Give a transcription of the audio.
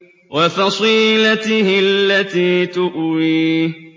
وَفَصِيلَتِهِ الَّتِي تُؤْوِيهِ